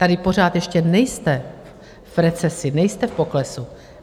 Tady pořád ještě nejste v recesi, nejste v poklesu.